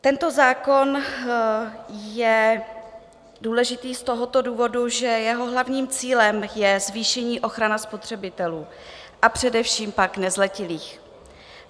Tento zákon je důležitý z toho důvodu, že jeho hlavním cílem je zvýšení ochrany spotřebitelů, a především pak nezletilých.